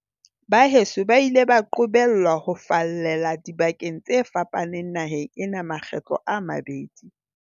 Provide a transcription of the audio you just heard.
Baheso ba ile ba qobellwa ho fallela dibakeng tse fa paneng naheng ena makgetlo a mabedi.